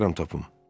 Çalışaram tapım.